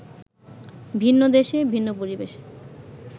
ভিন্ন দেশে, ভিন্ন পরিবেশে